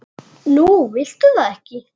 Nú viltu það ekki?